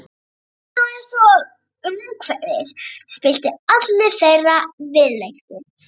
Það var einsog umhverfið spillti allri þeirra viðleitni.